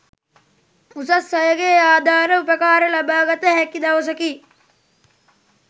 උසස් අයගේ ආධාර උපකාර ලබාගත හැකි දවසකි.